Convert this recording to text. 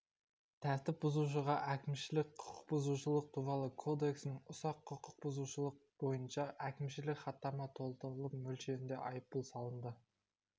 тәртіп бұзушыға әкімшілік құқықбұзушылық туралы кодексінің ұсақ құқық бұзушылық бойынша әкімшілік хаттама толтырылып мөлшерінде айыппұл салынды